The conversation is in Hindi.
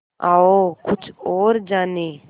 आओ कुछ और जानें